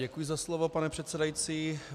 Děkuji za slovo, pane předsedající.